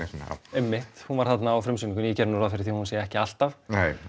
einmitt hún var þarna á frumsýningunni ég geri nú ráð fyrir því að hún sé ekki alltaf